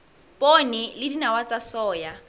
poone le dinawa tsa soya